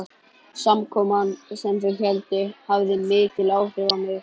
Samkoman, sem þau héldu, hafði mikil áhrif á mig.